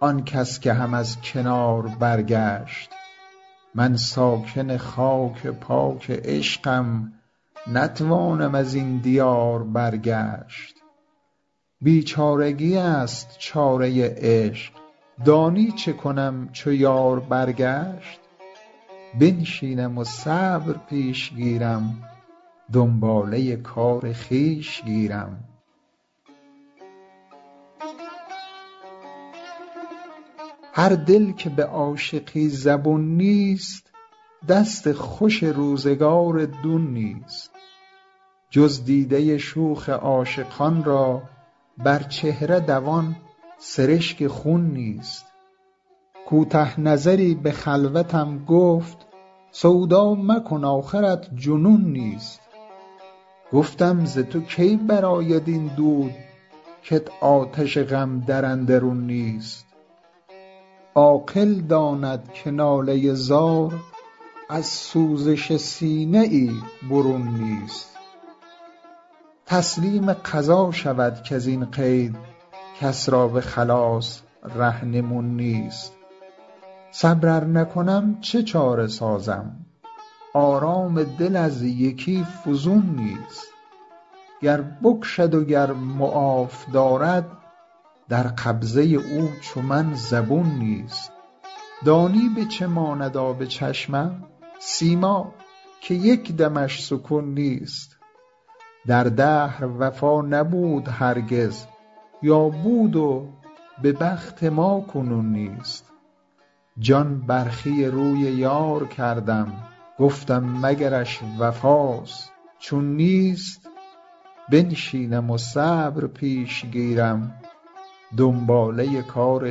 آن کس که هم از کنار برگشت من ساکن خاک پاک عشقم نتوانم ازین دیار برگشت بیچارگی ست چاره عشق دانی چه کنم چو یار برگشت بنشینم و صبر پیش گیرم دنباله کار خویش گیرم هر دل که به عاشقی زبون نیست دست خوش روزگار دون نیست جز دیده شوخ عاشقان را بر چهره دوان سرشک خون نیست کوته نظری به خلوتم گفت سودا مکن آخرت جنون نیست گفتم ز تو کی برآید این دود کت آتش غم در اندرون نیست عاقل داند که ناله زار از سوزش سینه ای برون نیست تسلیم قضا شود کزین قید کس را به خلاص رهنمون نیست صبر ار نکنم چه چاره سازم آرام دل از یکی فزون نیست گر بکشد و گر معاف دارد در قبضه او چو من زبون نیست دانی به چه ماند آب چشمم سیماب که یک دمش سکون نیست در دهر وفا نبود هرگز یا بود و به بخت ما کنون نیست جان برخی روی یار کردم گفتم مگرش وفاست چون نیست بنشینم و صبر پیش گیرم دنباله کار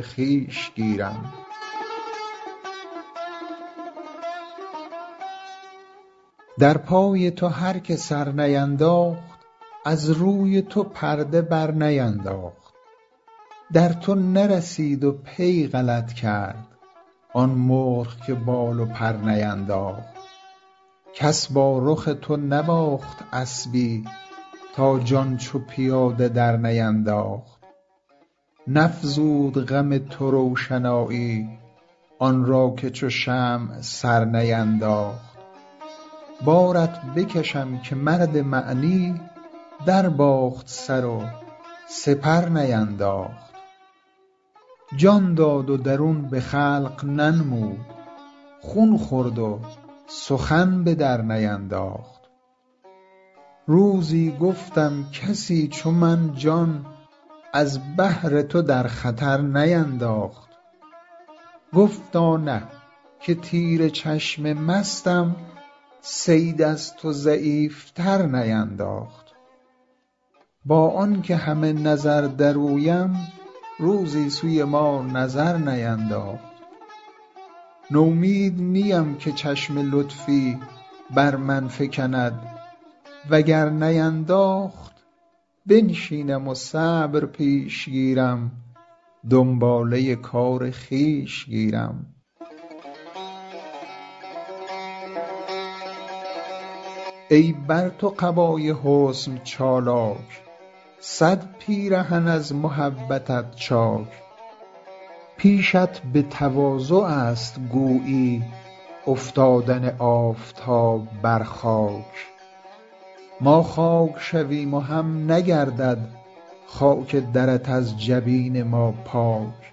خویش گیرم در پای تو هر که سر نینداخت از روی تو پرده بر نینداخت در تو نرسید و پی غلط کرد آن مرغ که بال و پر نینداخت کس با رخ تو نباخت اسبی تا جان چو پیاده در نینداخت نفزود غم تو روشنایی آن را که چو شمع سر نینداخت بارت بکشم که مرد معنی در باخت سر و سپر نینداخت جان داد و درون به خلق ننمود خون خورد و سخن به در نینداخت روزی گفتم کسی چو من جان از بهر تو در خطر نینداخت گفتا نه که تیر چشم مستم صید از تو ضعیف تر نینداخت با آن که همه نظر در اویم روزی سوی ما نظر نینداخت نومید نیم که چشم لطفی بر من فکند وگر نینداخت بنشینم و صبر پیش گیرم دنباله کار خویش گیرم ای بر تو قبای حسن چالاک صد پیرهن از محبتت چاک پیشت به تواضع ست گویی افتادن آفتاب بر خاک ما خاک شویم و هم نگردد خاک درت از جبین ما پاک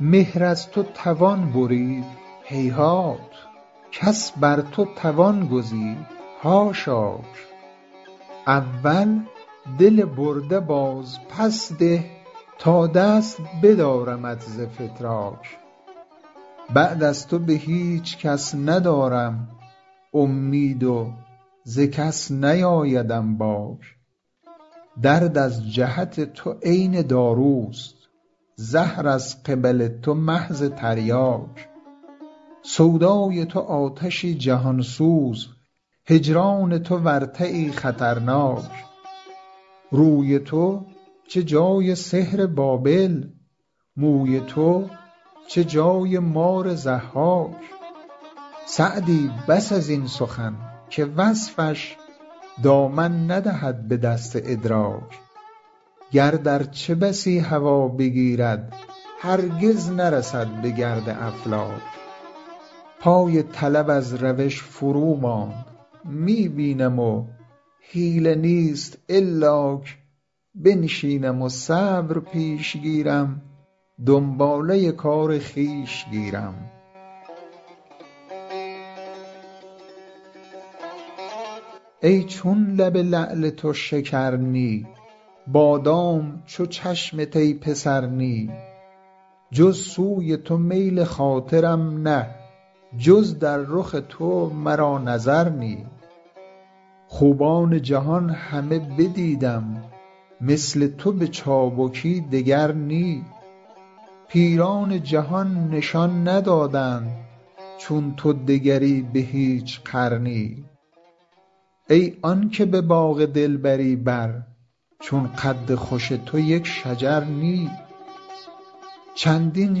مهر از تو توان برید هیهات کس بر تو توان گزید حاشاک اول دل برده باز پس ده تا دست بدارمت ز فتراک بعد از تو به هیچ کس ندارم امید و ز کس نیآیدم باک درد از جهت تو عین داروست زهر از قبل تو محض تریاک سودای تو آتشی جهان سوز هجران تو ورطه ای خطرناک روی تو چه جای سحر بابل موی تو چه جای مار ضحاک سعدی بس ازین سخن که وصفش دامن ندهد به دست ادراک گرد ارچه بسی هوا بگیرد هرگز نرسد به گرد افلاک پای طلب از روش فرو ماند می بینم و حیله نیست الاک بنشینم و صبر پیش گیرم دنباله کار خویش گیرم ای چون لب لعل تو شکر نی بادام چو چشمت ای پسر نی جز سوی تو میل خاطرم نه جز در رخ تو مرا نظر نی خوبان جهان همه بدیدم مثل تو به چابکی دگر نی پیران جهان نشان ندادند چون تو دگری به هیچ قرنی ای آن که به باغ دلبری بر چون قد خوش تو یک شجر نی چندین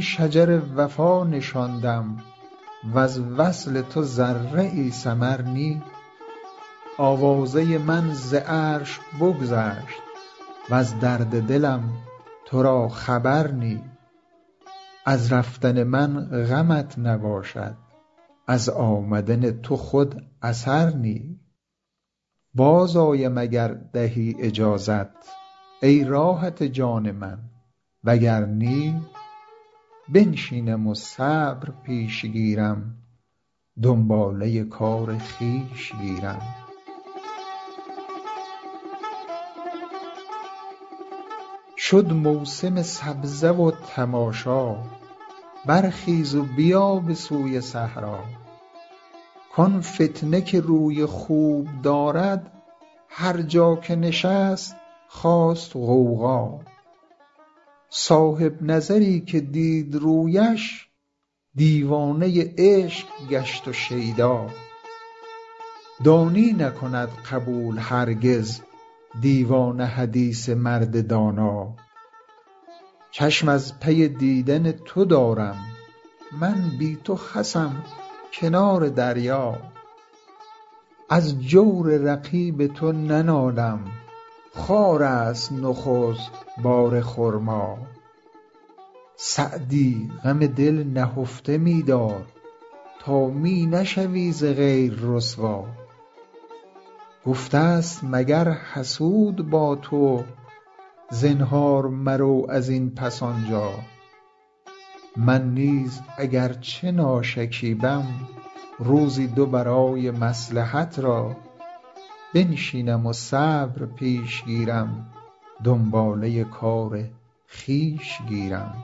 شجر وفا نشاندم وز وصل تو ذره ای ثمر نی آوازه من ز عرش بگذشت وز درد دلم تو را خبر نی از رفتن من غمت نباشد از آمدن تو خود اثر نی باز آیم اگر دهی اجازت ای راحت جان من وگر نی بنشینم و صبر پیش گیرم دنباله کار خویش گیرم شد موسم سبزه و تماشا برخیز و بیا به سوی صحرا کآن فتنه که روی خوب دارد هر جا که نشست خاست غوغا صاحب نظری که دید رویش دیوانه عشق گشت و شیدا دانی نکند قبول هرگز دیوانه حدیث مرد دانا چشم از پی دیدن تو دارم من بی تو خسم کنار دریا از جور رقیب تو ننالم خارست نخست بار خرما سعدی غم دل نهفته می دار تا می نشوی ز غیر رسوا گفته ست مگر حسود با تو زنهار مرو ازین پس آنجا من نیز اگر چه ناشکیبم روزی دو برای مصلحت را بنشینم و صبر پیش گیرم دنباله کار خویش گیرم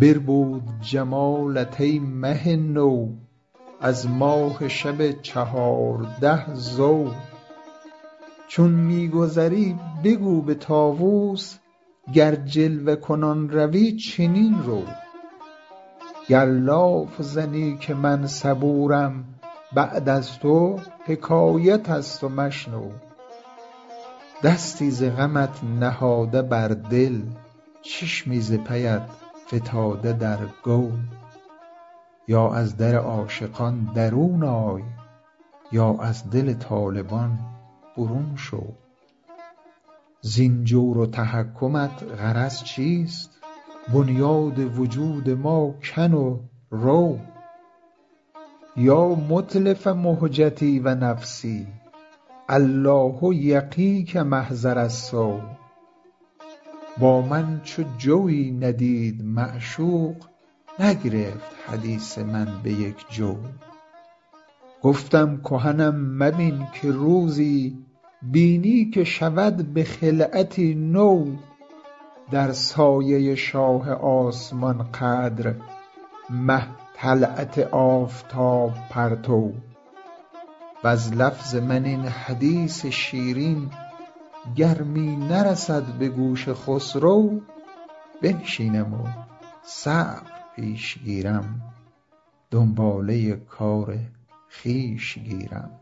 بربود جمالت ای مه نو از ماه شب چهارده ضو چون می گذری بگو به طاوس گر جلوه کنان روی چنین رو گر لاف زنم که من صبورم بعد از تو حکایت ست و مشنو دستی ز غمت نهاده بر دل چشمی ز پیت فتاده در گو یا از در عاشقان درون آی یا از دل طالبان برون شو زین جور و تحکمت غرض چیست بنیاد وجود ما کن و رو یا متلف مهجتی و نفسی الله یقیک محضر السو با من چو جویی ندید معشوق نگرفت حدیث من به یک جو گفتم کهنم مبین که روزی بینی که شود به خلعتی نو در سایه شاه آسمان قدر مه طلعت آفتاب پرتو وز لفظ من این حدیث شیرین گر می نرسد به گوش خسرو بنشینم و صبر پیش گیرم دنباله کار خویش گیرم